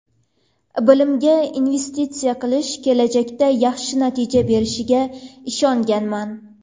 Bilimga investitsiya qilish kelajakda yaxshi natija berishiga ishonganman.